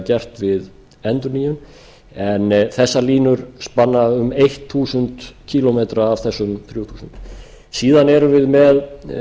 gert við endurnýjun en þessar línur spanna um þúsund kílómetra af þessum þrjú þúsund síðan erum við með